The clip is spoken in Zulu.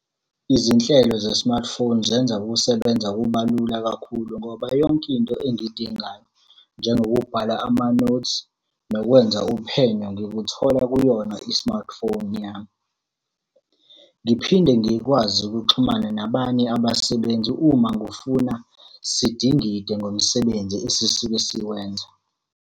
Izinhlelo ze-smartphone zenza ukusebenza kuba lula kakhulu ngoba yonke into engiyidingayo, njengokubhala amanothi, nokwenza uphenyo, ngikuthola kuyona i-smartphone yami. Ngiphinde ngikwazi ukuxhumana nabanye abasebenzi uma ngifuna sidingide ngomsebenzi esisuke siwenza.